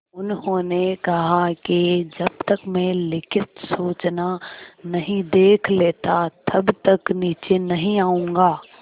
उन्होंने कहा कि जब तक मैं लिखित सूचना नहीं देख लेता तब तक नीचे नहीं आऊँगा